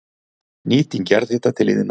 Nýting jarðhita til iðnaðar